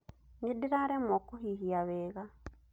Nĩ ndĩraremwo kũhihia wega.